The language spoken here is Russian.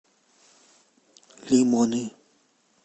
лимоны